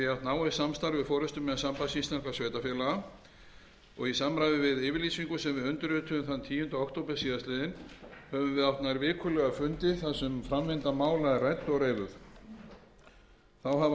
náið samstarf við forustumenn sambands íslenskra sveitarfélaga í samræmi við yfirlýsingu sem við undirrituðum þann tíunda október síðastliðinn höfum við átt nær vikulega fundi þar sem framvinda mála er rædd og reifuð þá hafa